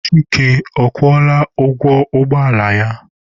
Chika, ọ kwụọla ụgwọ ụgbọ ala ya?